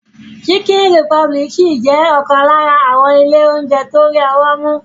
Chicken Republic ṣì jẹ́ ọ̀kan lára àwọn ilé oúnjẹ tó rí ọwọ́ mú.